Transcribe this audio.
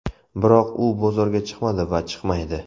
Biroq u bozorga chiqmadi va chiqmaydi.